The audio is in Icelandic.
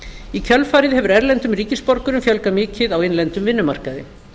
í kjölfarið hefur erlendum ríkisborgurum fjölgað mikið á innlendum vinnumarkaði